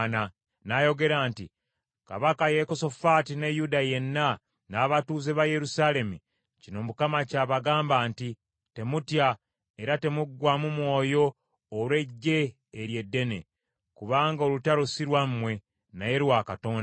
N’ayogera nti, “Kabaka Yekosafaati, ne Yuda yenna, n’abatuuze ba Yerusaalemi, kino Mukama ky’abagamba nti, ‘Temutya era temuggwaamu mwoyo olw’eggye eryo eddene, kubanga olutalo si lwammwe, naye lwa Katonda.